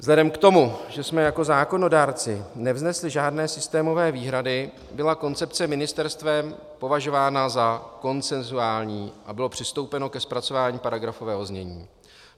Vzhledem k tomu, že jsme jako zákonodárci nevznesli žádné systémové výhrady, byla koncepce ministerstvem považována za konsenzuální a bylo přistoupeno ke zpracování paragrafového znění.